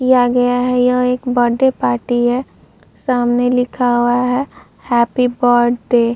या गया है। यह एक बड्ड़े पार्टी है। सामने लिख वा है "हैप्पी बड्ड़े "।